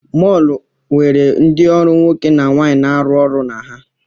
Mọọlụ nwere ndị ọrụ nwoke na nwaanyị na-arụ ọrụ na ha.